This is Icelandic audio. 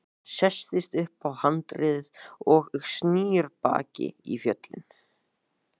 Hann sest upp á handriðið og snýr baki í fjöllin.